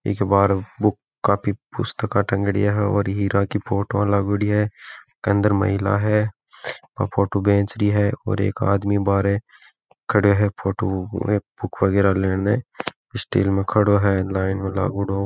ईके बहार बुक काफी पुस्तके तंगेड़ी है और हीरा की फोटो लगेड़ी है इसके अंदर महिला है वो फोटो बेच री है और एक आदमी बाहरे खडो है फोटो बुक वगैरह लेने स्टैंड में खड़ो है लाइन में लागेड़ो।